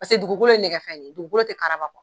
Paseke dugukolo ye nɛgɛ fɛn de ye dugukolo te karaba